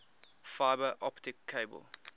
fiber optic cable